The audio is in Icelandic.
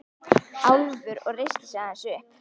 Álfur og reisti sig aðeins upp.